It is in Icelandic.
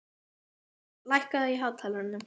Algengt er að nögl stórutáar vaxi inn í hörundið.